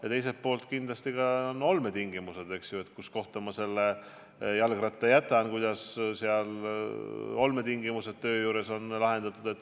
Ja teiselt poolt kindlasti ka olmetingimused: kuhu kohta ma jalgratta jätan, kuidas töö juures näiteks see on lahendatud.